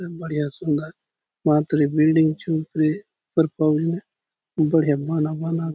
बढ़िया सुंदर मांतर ये बिल्डिंग चो ऊपरे बढ़िया बाना बनालो।